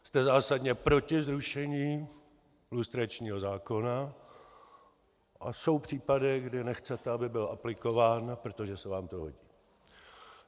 Jste zásadně proti zrušení lustračního zákona, a jsou případy, kdy nechcete, aby byl aplikován, protože se vám to hodí.